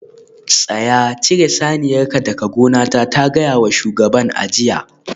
Tsaya! cire saniyarka daga gonata ta gaya wa shugaban a jiya